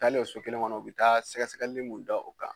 Taalen o so kelen kɔnɔ u bɛ taa sɛgɛsɛgɛli mun da o kan